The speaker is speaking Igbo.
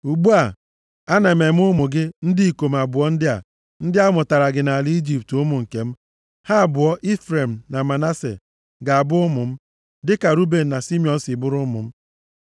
“Ugbu a, ana m eme ụmụ gị ndị ikom abụọ ndị a, ndị a mụtaara gị nʼala Ijipt, ụmụ nke m. Ha abụọ, Ifrem na Manase, ga-abụ ụmụ m, dịka Ruben na Simiọn si bụrụ ụmụ m.